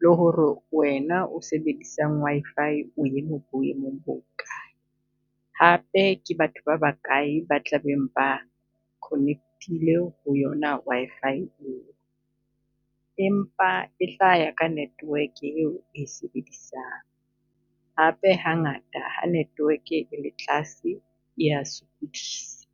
le ho re wena o sebedisang Wi-Fi o eme boemong bo ho kae? Hape ke batho ba ba kae ba tla beng ba connect-ile ho yona Wi-Fi eo? Empa e tla ya ka network-e e o e sebedisang, hape hangata ha network-e e le tlase e ya sokodisa.